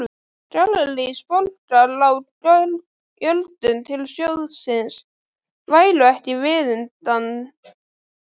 Gallerís Borgar á gjöldum til sjóðsins væru ekki viðunandi.